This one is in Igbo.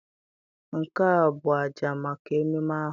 Nke a ọ bụ àjà maka ememe ahụ?